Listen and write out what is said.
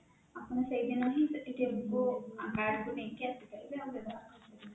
ଆପଣ ସେଇ ଦିନ ହିଁ ସେ କୁ card ନେଇକି ଆସିପାରିବେ ଆମେ